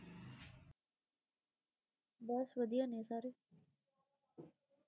ਬਸ ਵਧੀਆ ਨੇ ਸਾਰੇ